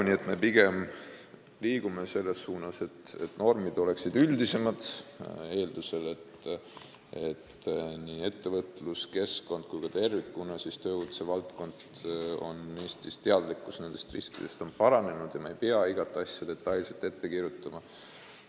Nii et me pigem liigume selles suunas, et normid oleksid üldisemad, eeldusel, et ettevõtluskeskkonna ja tervikuna tööohutuse valdkonnas on Eestis teadlikkus nendest riskidest paranenud ja me ei pea igat asja detailselt ette kirjutama.